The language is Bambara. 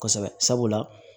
Kosɛbɛ sabula